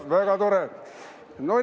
Väga tore!